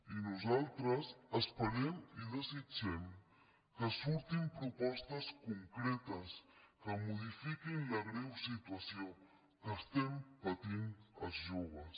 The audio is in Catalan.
i nosaltres esperem i desitgem que surtin propostes concretes que modifiquin la greu situació que estem patint els joves